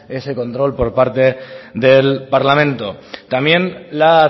ese control por parte del parlamento también la